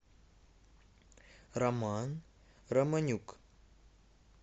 роман романюк